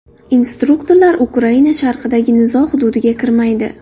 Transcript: Instruktorlar Ukraina sharqidagi nizo hududiga kirmaydi.